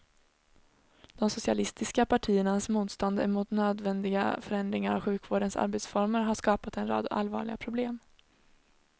De socialistiska partiernas motstånd emot nödvändiga förändringar av sjukvårdens arbetsformer har skapat en rad allvarliga problem.